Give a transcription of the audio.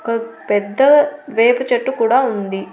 ఒక పెద్ద వేప చెట్టు కూడా ఉంది.